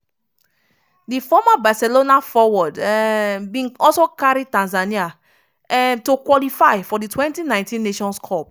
di former barcelona forward um bin also carry tanzania um to qualify for di 2019 nations cup.